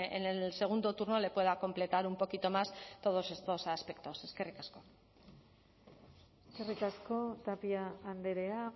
en el segundo turno le pueda completar un poquito más todos estos aspectos eskerrik asko eskerrik asko tapia andrea